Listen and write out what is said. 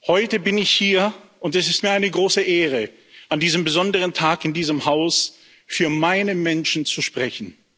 Heute bin ich hier, und es ist mir eine große Ehre, an diesem besonderen Tag in diesem Haus für meine Menschen zu sprechen.